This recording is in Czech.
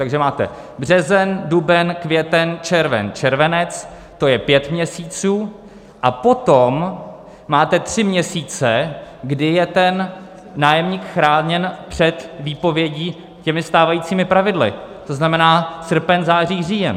Takže máte březen, duben, květen, červen, červenec - to je pět měsíců - a potom máte tři měsíce, kdy je ten nájemník chráněn před výpovědí těmi stávajícími pravidly, to znamená srpen, září, říjen.